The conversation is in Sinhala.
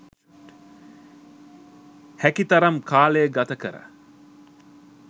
හැකි තරම් කාලය ගත කර